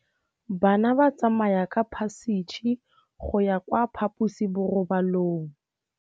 Bana ba tsamaya ka phašitshe go ya kwa phaposiborobalong.